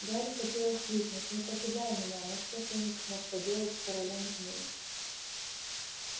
гарри хотелось крикнуть не покидай меня но что феникс мог поделать с королём змей